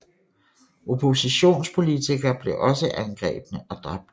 Oppositionspolitikere blev også angrebne og dræbt